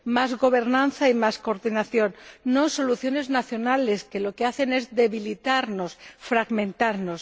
más gobernanza y más coordinación, no soluciones nacionales que lo que hacen es debilitarnos, fragmentarnos.